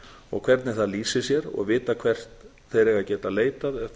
og hvernig það lýsir sér og vita hvert þeir eiga að geta leitað